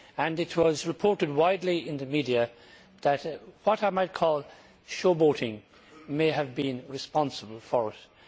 It was reported widely in the media that what I might call showboating may have been responsible for this.